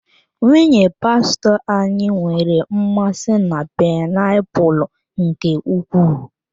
Nwunye pastọ anyị nwere mmasị na painiapulu nke ukwuu.